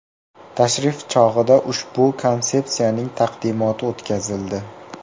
Tashrif chog‘ida ushbu konsepsiyaning taqdimoti o‘tkazildi.